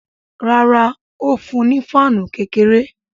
Rárá, ó fún un ní fáànù kékeré